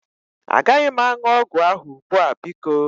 Agaghị m aṅụ ọgwụ ahụ ugbu a biko.